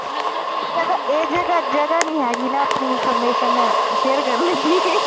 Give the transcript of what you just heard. ਚਲੋ ਏਦੇ ਘਰ ਜਗ੍ਹਾ ਨਹੀਂ ਹੇਗੀ ਨਾ ਆਪਣੀ ਇੰਨਫੋਰਮੈਸਨ ਸ਼ੇਅਰ ਕਰਨ ਦੀ